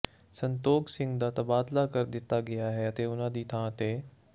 ਸੰਤੋਖ ਸਿੰਘ ਦਾ ਤਬਾਦਲਾ ਕਰ ਦਿੱਤਾ ਗਿਆ ਸੀ ਅਤੇ ਉਨ੍ਹਾਂ ਦੀ ਥਾਂ ਤੇ ਡਾ